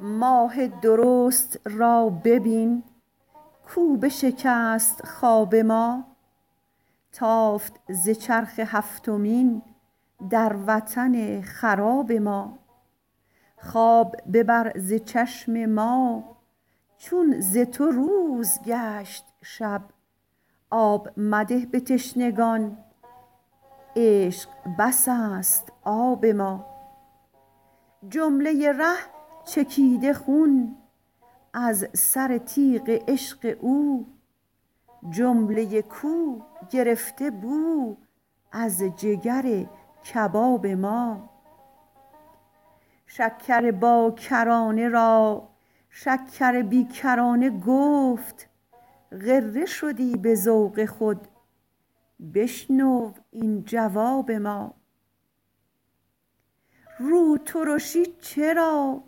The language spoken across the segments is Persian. ماه درست را ببین کاو بشکست خواب ما تافت ز چرخ هفتمین در وطن خراب ما خواب ببر ز چشم ما چون ز تو روز گشت شب آب مده به تشنگان عشق بس است آب ما جمله ی ره چکیده خون از سر تیغ عشق او جمله ی کو گرفته بو از جگر کباب ما شکر باکرانه را شکر بی کرانه گفت غره شدی به ذوق خود بشنو این جواب ما روترشی چرا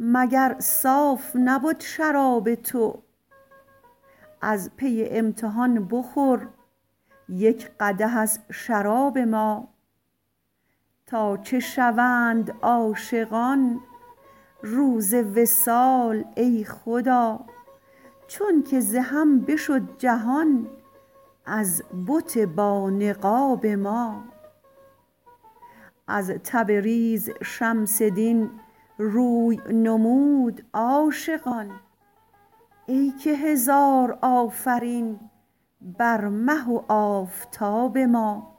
مگر صاف نبد شراب تو از پی امتحان بخور یک قدح از شراب ما تا چه شوند عاشقان روز وصال ای خدا چونک ز هم بشد جهان از بت بانقاب ما از تبریز شمس دین روی نمود عاشقان ای که هزار آفرین بر مه و آفتاب ما